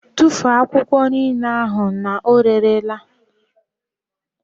Tụfuo akwụkwọ niile ahụ na ọ rere la!